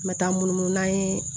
N bɛ taa munumunu n'an ye